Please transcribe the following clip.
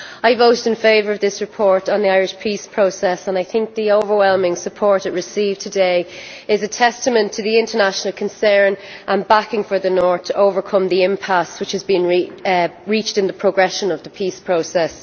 I voted in favour of this report on the Irish peace process and I think the overwhelming support it received today is a testament to the international concern and backing for the North to overcome the impasse that has been reached in the progress of the peace process.